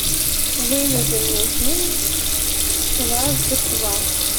выведи мне фильм кважды ква